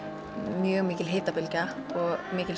mjög mikil hitabylgja og